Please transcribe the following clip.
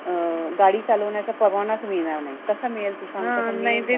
अं गाडी चालवण्याचा परवानाचं मिळणार नाही. कसा मिळेल? तू सांग.